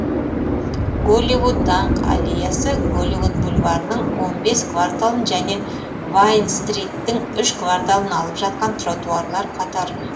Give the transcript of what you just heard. голливуд даңқ аллеясы голливуд бульварінің он бес кварталын және вайн стриттің үш кварталын алып жатқан тротуарлар қатары